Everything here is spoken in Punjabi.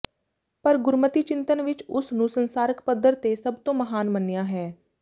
ਪਰ ਗੁਰਮਤਿ ਚਿੰਤਨ ਵਿਚ ਉਸ ਨੂੰ ਸੰਸਾਰਕ ਪੱਧਰ ਤੇ ਸਭ ਤੋਂ ਮਹਾਨ ਮੰਨਿਆ ਹੈ